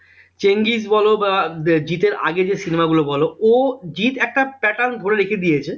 চেঙ্গিজ বল বা আহ জিৎ এর আগে যে cinema গুলো বল ও জিৎ একটা pattern ধরে রেখে দিয়েছে